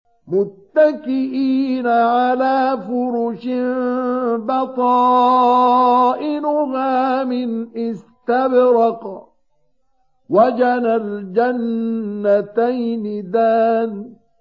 مُتَّكِئِينَ عَلَىٰ فُرُشٍ بَطَائِنُهَا مِنْ إِسْتَبْرَقٍ ۚ وَجَنَى الْجَنَّتَيْنِ دَانٍ